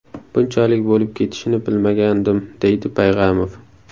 Bunchalik bo‘lib ketishini bilmagandim”, deydi Payg‘amov.